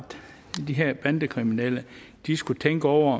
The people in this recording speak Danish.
de her bandekriminelle skulle tænke over